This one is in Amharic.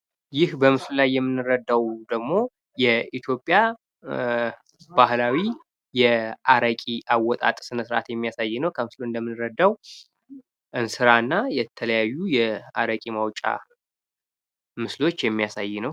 ይህ በምስሉ ላይ የምንረዳው ደግሞ የኢትዮያ ባህላዊ የአረቂ አወጣጥ ስነ ስርዓት የሚያሳይ ነው ከምስሉ ላይ እንደምንረዳው እንስራ እና የተለያዩ የአረቂ ማዉጫ ምስሎች የሚያሳይ ነው።